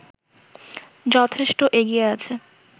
যথেষ্ট এগিয়ে আছে